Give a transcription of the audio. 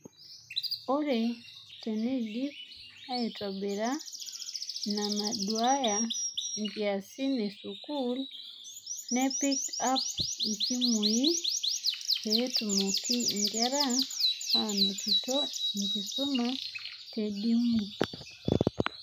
Ore teneidipi aitobirra inanaduaaya nkiasin esukuul, nepiki app isimui peetumoki nkera anotito enkisuma te dimu.